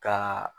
Ka